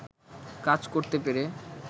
কাজ করতে পেরে